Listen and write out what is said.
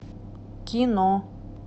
кино